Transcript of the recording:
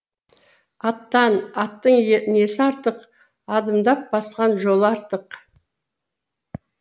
аттан аттың несі артық адымдап басқан жолы артық